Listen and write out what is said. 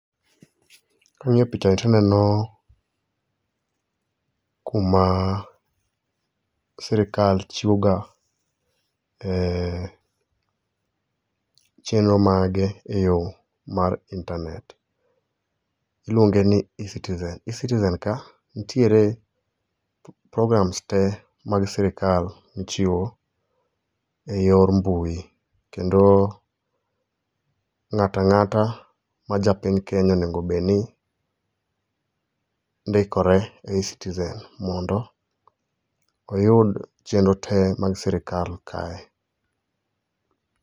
King'iyo pichani tineno kuma sirkal chiwoga e chenro mage eyo mar intanet. Iluonge ni eCitizen. eCitizen ka, nitiere programs te mag sirkal michiwo eyor mbui kendo ng'ato ang'ata ma ja piny Kenya onego obed ni ndikore e eCitizen mondo oyud chenro te mag sirkal kae.